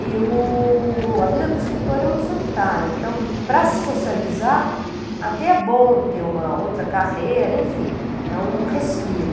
E o, a vida do escritor é muito solitária, então, para se socializar, até é bom ter uma outra carreira, enfim, é um respiro.